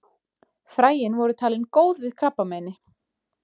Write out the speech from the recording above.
Fræin voru talin góð við krabbameini.